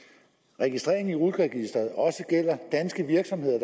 registrering i rut registeret også gælder danske virksomheder